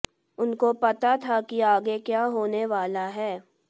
उनको पता था कि आगे क्या होने वाला है